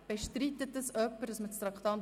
Bestreitet dies jemand?